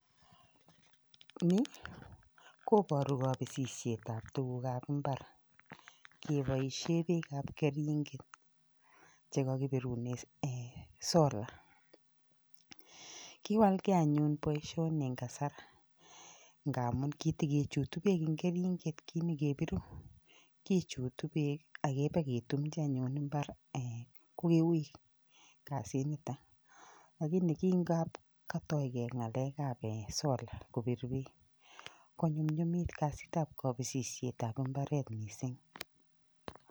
Ni koboru kabisisietab tukukab mbar. Keboishe beek ab keringet keboishe solar. Kiwalgei anyun boishoni eng kasar, ngamun kitekechutu beek eng keringet, kimekepiru. Kichutu beek akibeketumchi anyun mbar kokiui kasinitok. Lakini ki ngap katoigei ng'alekab solar, kopir beek konyumnyumit kasitab kabisisietab mbaret mising.